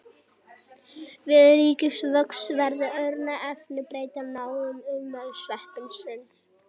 Við ríkulegan vöxt verða örar efnabreytingar í nánasta umhverfi sveppsins.